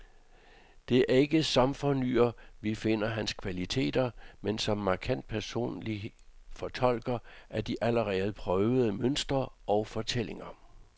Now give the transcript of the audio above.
Det er ikke som fornyer, vi finder hans kvaliteter, men som markant personlig fortolker af de allerede prøvede mønstre og fortællinger.